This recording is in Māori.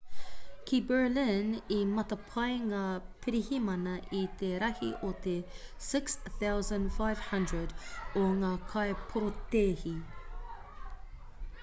ki berlin i matapae ngā pirihimana i te rahi o te 6,500 o ngā kaiporotēhi